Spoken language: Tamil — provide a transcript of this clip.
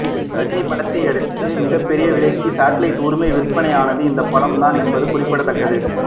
ரஜினி படத்தை அடுத்து மிகப்பெரிய விலைக்கு சாட்டிலைட் உரிமை விற்பனையானது இந்த படம் தான் என்பது குறிப்பிடத்தக்கது